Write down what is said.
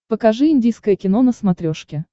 покажи индийское кино на смотрешке